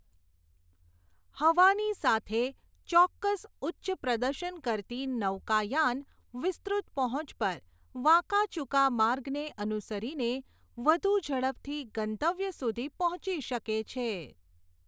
હવાની સાથે, ચોક્કસ ઉચ્ચ પ્રદર્શન કરતી નૌકાયાન વિસ્તૃત પહોંચ પર વાંકાચૂકા માર્ગને અનુસરીને વધુ ઝડપથી ગંતવ્ય સુધી પહોંચી શકે છે.